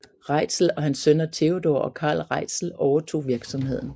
Reitzel og hans sønner Theodor og Carl Reitzel overtog virksomheden